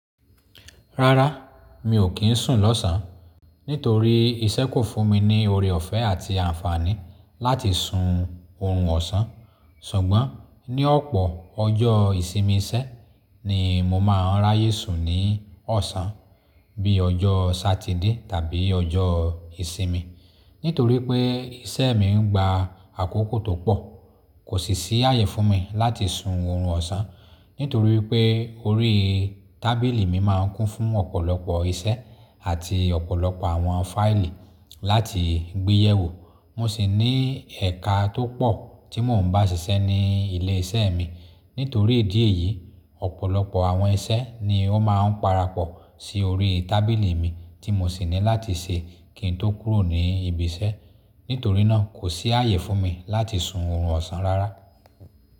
Rárá, mi ò kí ń sùn lọ́sàn án nítorí iṣẹ́ kò fún mi ní ore ọ̀fẹ́ àti àǹfààní láti sun oorun ọ̀sán. Ṣùgbọ́n ní ọ̀pọ̀ ọjọ́ ìsinmi iṣẹ́ ni mo máa ń ráyè sùn ní ọ̀sán bí i ọjọ́ Satide tàbí ọjọ́ ìsinmi. Nítorí pé iṣẹ́ mi gba àkókò tó pọ̀, kò sì ṣí àyè fún mi láti sun oorun ọ̀sán nítorí pé orí tábìlì mi máa ń kún fún ọ̀pọ̀lọpọ̀ iṣẹ́ àti ọ̀pọ̀lọpọ̀ àwọn fáìlì láti gbéyẹ̀ wò. Mo sì ní ẹka tó pọ̀ tí mò ń bá ṣiṣẹ́ ní ilé iṣẹ́ mi. Nítorí ìdí èyí, ọ̀pọ̀lọpọ̀ àwọn iṣẹ́ ni ó máa ń parapọ̀ sí orí tábìlì mi tí mo sì ní láti ṣe kí n tó kúrò ní ibi iṣẹ́. Nítorí náà kò sí àyè fún mi láti sun oorun ọ̀sán rárá.